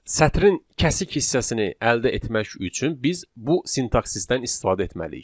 Sətrin kəsik hissəsini əldə etmək üçün biz bu sintaksisdən istifadə etməliyik.